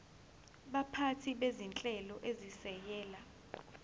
baphathi bezinhlelo ezisekela